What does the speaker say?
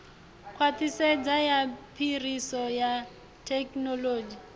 khwaṱhisedzo ya phiriso ya thekhinoḽodzhi